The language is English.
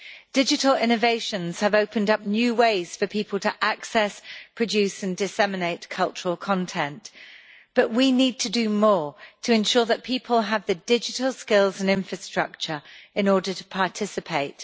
Digital innovations have opened up new ways for people to access, produce and disseminate cultural content, but we need to do more to ensure that people have the digital skills and infrastructure in order to participate.